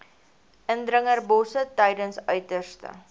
indringerbosse tydens uiterste